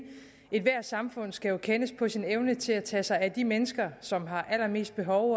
ethvert samfund skal jo kendes på sin evne til at tage sig af de mennesker som har allermest behov